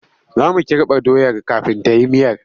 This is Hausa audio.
Za mu kirɓa doyar kafin ta yi miyar.